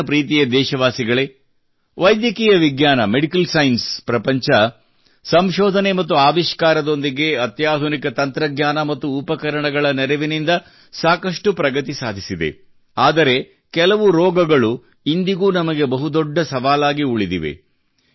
ನನ್ನ ಪ್ರೀತಿಯ ದೇಶವಾಸಿಗಳೇ ವೈದ್ಯಕೀಯ ವಿಜ್ಞಾನ ಮೆಡಿಕಲ್ ಸೈನ್ಸ್ ಪ್ರಪಂಚವು ಸಂಶೋಧನೆ ಮತ್ತು ಆವಿಷ್ಕಾರದೊಂದಿಗೆ ಅತ್ಯಾಧುನಿಕ ತಂತ್ರಜ್ಞಾನ ಮತ್ತು ಉಪಕರಣಗಳ ನೆರವಿನಿಂದ ಸಾಕಷ್ಟು ಪ್ರಗತಿ ಸಾಧಿಸಿದೆ ಆದರೆ ಕೆಲವು ರೋಗಗಳು ಇಂದಿಗೂ ನಮಗೆ ಬಹು ದೊಡ್ಡ ಸವಾಲಾಗಿ ಉಳಿದಿದೆ